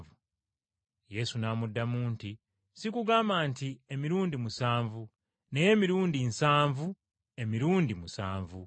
Yesu n’amuddamu nti, “Sikugamba nti emirundi musanvu naye emirundi nsanvu emirundi musanvu.”